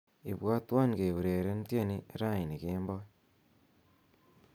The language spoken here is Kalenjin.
ibwotwon keureren tieni raini kemboi